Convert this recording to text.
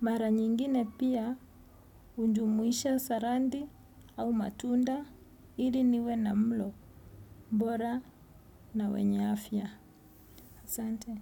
Mara nyingine pia hujumuisha saladi au matunda ili niwe na mlo mbora na wenye afya. Asante.